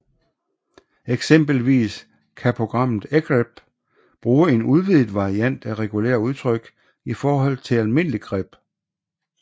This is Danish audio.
Eksempelvis kan programmet egrep bruge en udvidet variant af regulære udtryk i forhold til almindelig grep